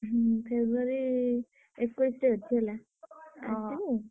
ହୁଁ February ଏକୋଇଶି ରେ ଅଛି ହେଲା ଆସିବୁ।